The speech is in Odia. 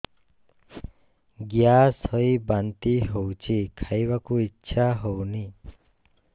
ଗ୍ୟାସ ହୋଇ ବାନ୍ତି ହଉଛି ଖାଇବାକୁ ଇଚ୍ଛା ହଉନି